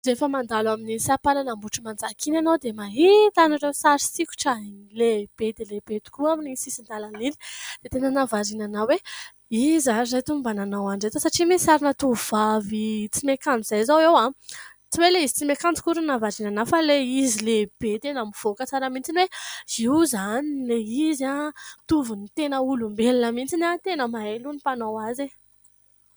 Rehefa mandalo amin'ny sampanana Ambotrimanjaka iny ianao dia mahita an'ireo sary sikotra lehibe dia lehibe tokoa amin'ny sisin-dalan'iny, dia tena nahavariana anao hoe izy ary ireto no mba nanao an'ireto satria misy sarina tovovavy tsy miakanjo izay izao eo ; tsy hoe ilay izy tsy miakanjo akory ny nahavariana fa ilay izy lehibe tena mivoaka tsara mitsiny hoe : io izany ilay izy tovin'ny tena olombelona mitsiny tena mahay aloha ny mpanao azy.